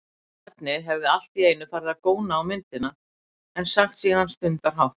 Barnið hefði allt í einu farið að góna á myndina, en sagt síðan stundarhátt